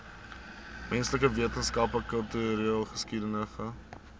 menslike wetenskappe kultureelgeskiedkundige